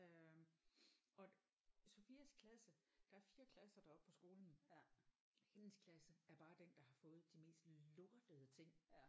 Øh og Sophias klasse der er 4 klasser deroppe på skolen hendes klasse er bare den der har fået de mest lortede ting